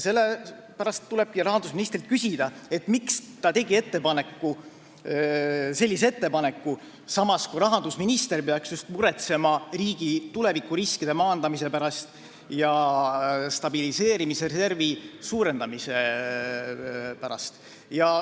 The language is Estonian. Sellepärast tulebki rahandusministrilt küsida, miks ta tegi sellise ettepaneku, kui tema peaks just muretsema riigi tulevikuriskide maandamise ja stabiliseerimisreservi suurendamise pärast.